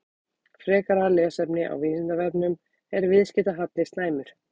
Frekara lesefni á Vísindavefnum: Er viðskiptahalli slæmur?